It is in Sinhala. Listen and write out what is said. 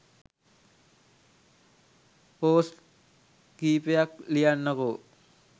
පෝස්ට් කීපයක් ලියන්නකෝ